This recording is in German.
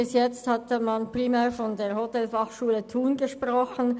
Bis jetzt hat man primär von der Hotelfachschule Thun gesprochen.